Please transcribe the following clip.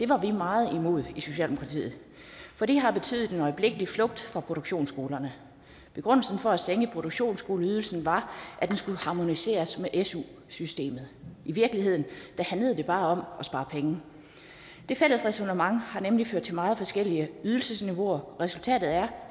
var vi meget imod i socialdemokratiet for det har betydet en øjeblikkelig flugt fra produktionsskolerne begrundelsen for at sænke produktionsskoleydelsen var at den skulle harmoniseres med su systemet i virkeligheden handlede det bare om at spare penge det fælles ræsonnement har nemlig ført til meget forskellige ydelsesniveauer resultatet er